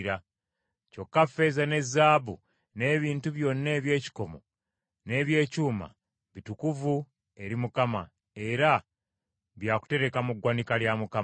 Kyokka ffeeza ne zaabu n’ebintu byonna eby’ekikomo n’eby’ekyuma bitukuvu eri Mukama era byakutereka mu ggwanika lya Mukama .”